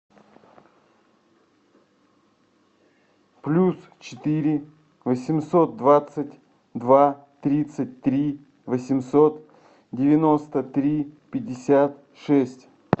плюс четыре восемьсот двадцать два тридцать три восемьсот девяносто три пятьдесят шесть